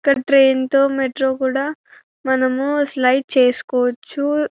ఇక్కడ ట్రైన్ తో మెట్రో కూడా మనము స్లయిడ్ చేసుకోవచ్చు.